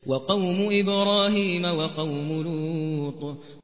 وَقَوْمُ إِبْرَاهِيمَ وَقَوْمُ لُوطٍ